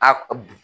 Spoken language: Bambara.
A